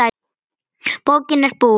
Bókin er búin.